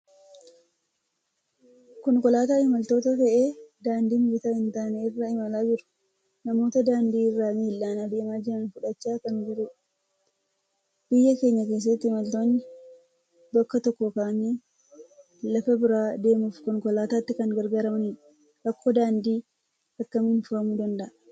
Konkolaataa imaltoota fe'ee daandii mijataa hin taane irra imalaa jiru. Namoota daandii irra miillaan adeemaa jiran fudhachaa kan jirudha. Biyya keenya keessatti imaltoonni bakka tokkoo ka'anii lafa biraa deemuuf Konkolaataatti kan gargaaramanidha. Rakkoon daandii akkamiin furamuu danda'a?